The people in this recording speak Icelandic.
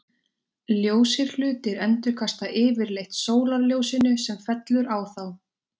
ljósir hlutir endurkasta yfirleitt sólarljósinu sem fellur á þá